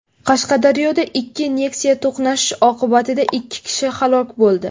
Qashqadaryoda ikki Nexia to‘qnashishi oqibatida ikki kishi halok bo‘ldi.